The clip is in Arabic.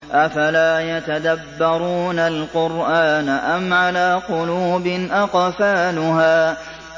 أَفَلَا يَتَدَبَّرُونَ الْقُرْآنَ أَمْ عَلَىٰ قُلُوبٍ أَقْفَالُهَا